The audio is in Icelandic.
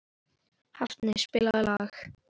Hafni, spilaðu lag.